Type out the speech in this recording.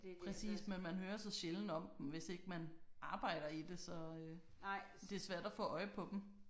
Præcis men man hører så sjælden om dem hvis ikke man arbejder i det så det er svært at få øje på dem